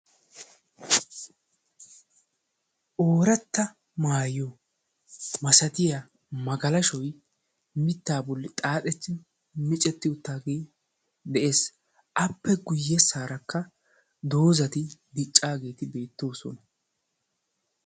Ooratta maayyo masatiyaa magalashoy mittaa bolli xaaxetti micetti uttaagee de'ees. appe guyyessaarakka doozati diccaageeti beettoosona.